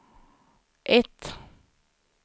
ett